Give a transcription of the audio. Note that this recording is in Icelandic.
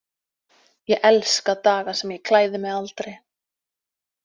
Ég elska daga sem ég klæði mig aldrei.